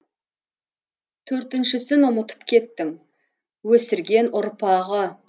төртіншісін ұмытып кеттің өсірген ұрпағы